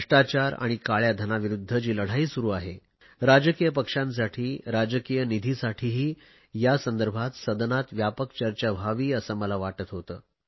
भ्रष्टाचार आणि काळया धनाविरुध्द जी लढाई सुरु आहे यासंदर्भात सदनात व्यापक चर्चा व्हावी असे मला वाटत होते